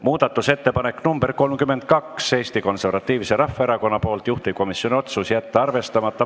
Muudatusettepanek nr 32 on Eesti Konservatiivselt Rahvaerakonnalt, juhtivkomisjoni otsus: jätta arvestamata.